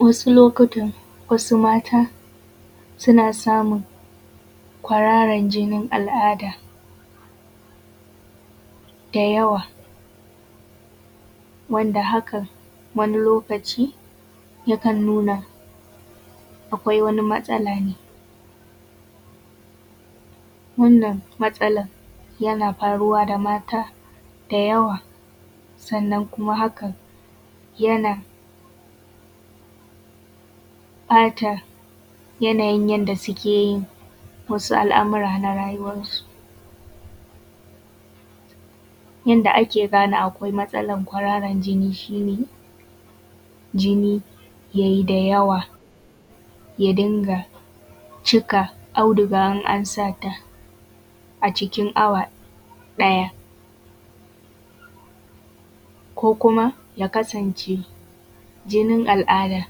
Wasu lokutan mata suna samun kwararan jinin al’ada da yawa wanda hakan wani lokaci yakan nuna akwai wani matsala ne. Wannan matsalan yana faruwa da mata da yawa, sannan kuma hakan yana ɓata yanayin yadda suke yin wasu al’amura na rayuwansu. Yanda ake gane akwai matsalan kwararan jini shi ne, jini ya yi da yawa ya dinga cika audiga in an sa ta a cikin awa ɗaya. Ko kuma ya kasance jinin al’ada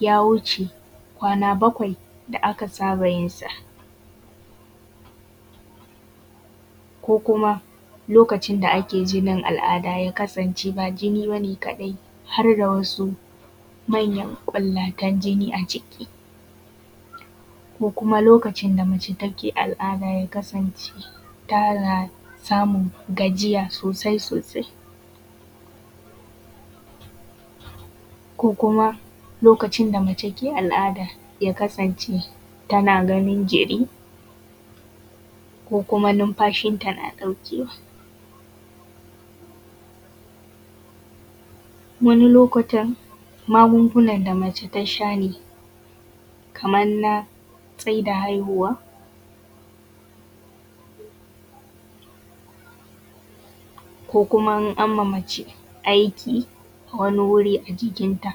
ya wuce kwana bakwai da aka kaba yinsa. Ko kuma lokacin da ake jinin al’ada ya kasance ba jini bane kaɗai har da wasu manyan ƙullatan jini a ciki, ko kuma lokacin da mace take al’ada ya kasance tana samun gajiya sosai sosai, ko kuma lokacin da mace ke al’ada ya kasance tana ganin jiri, ko kuma numfashinta na ɗaukewa. Wani lokutan, magungunan da mace ta sha ne kaman na tsaida haihuwa, ko kuma in an ma mace aiki wani wuri a jikinta.